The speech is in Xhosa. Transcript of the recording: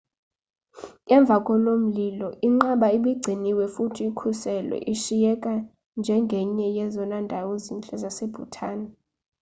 emvakomlilo inqaba ibigciniwe futhi ikhuselwe ishiyeka njengenye yezona ndawo zintle zase-bhutan